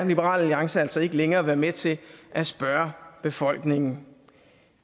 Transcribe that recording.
liberal alliance altså ikke længere være med til at spørge befolkningen